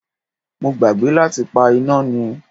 Mo gbàgbé láti pa iná ni.